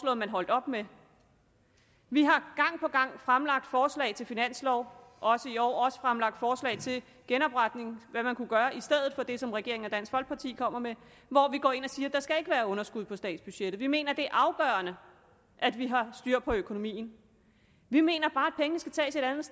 at man holdt op med vi har gang på gang fremlagt forslag til finanslov også i år og også fremlagt forslag til genopretning og hvad man kunne gøre i stedet for det som regeringen og dansk folkeparti kommer med hvor vi går ind og siger at der ikke skal være underskud på statsbudgettet vi mener det er afgørende at vi har styr på økonomien vi mener bare at pengene skal tages et andet